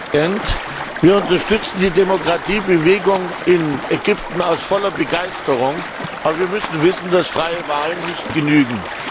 Herr Präsident! Wir unterstützen die Demokratiebewegung in Ägypten mit voller Begeisterung, aber wir müssen wissen, dass freie Wahlen nicht genügen.